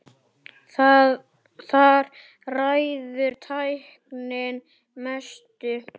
Þar ræður tæknin mestu.